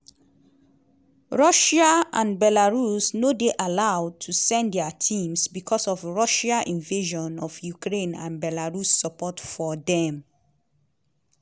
russia and belarus no dey allowed to send dia teams becos of russia invasion of ukraine and belarus support for dem.